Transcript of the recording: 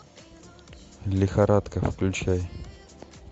лихорадка включай